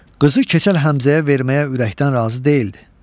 Qızı Keçəl Həmzəyə verməyə ürəkdən razı deyildi.